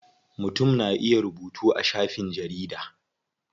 Mutum na iya rubutu a shafin jarida.